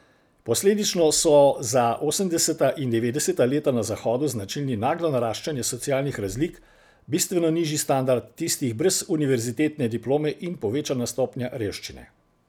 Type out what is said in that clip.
Posledično so za osemdeseta in devetdeseta leta na zahodu značilni naglo naraščanje socialnih razlik, bistveno nižji standard tistih brez univerzitetne diplome in povečana stopnje revščine.